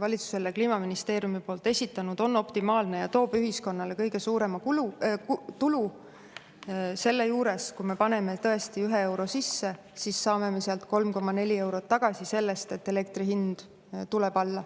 valitsusele Kliimaministeeriumi poolt esitanud, on optimaalne ja toob ühiskonnale kõige suurema tulu: selle järgi, kui me paneme tõesti ühe euro sisse, siis saame sealt 3,4 eurot tagasi tänu sellele, et elektri hind tuleb alla.